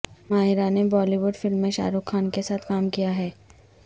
ماہرہ نے Bollywood film میں شاہ رخ خان کے ساتھ کام کیا ہے